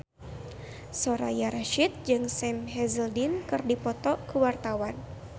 Soraya Rasyid jeung Sam Hazeldine keur dipoto ku wartawan